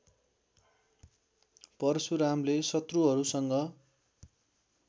परशुरामले शत्रुहरूसँग